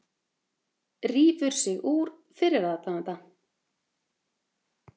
Rífur sig úr fyrir aðdáanda